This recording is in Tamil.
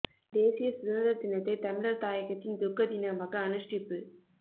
தேசிய சுதந்திர தினத்தை தமிழர் தாயகத்தின் துக்கதினமாக அனுஷ்டிப்பு